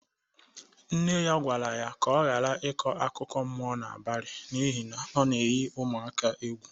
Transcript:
Nne ya gwara ya ka ọ gara ikọ akụkọ mmụo n'abali n'ihi na ọ na-eyi ụmụaka ya egwu.